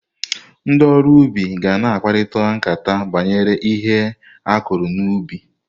Ndị oru ubi ga-na akparịkata nkata banyere ihe akụrụ n'ubi